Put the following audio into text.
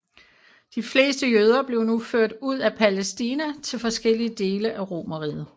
De fleste jøder blev nu ført ud af Palæstina til forskellige dele af Romerriget